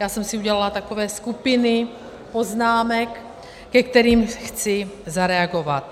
Já jsem si udělala takové skupiny poznámek, ke kterým chci zareagovat.